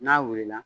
N'a wulila